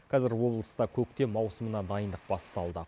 қазір облыста көктем маусымына дайындық басталды